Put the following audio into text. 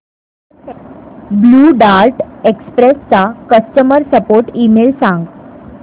blue Dart Express चा customer support email सांग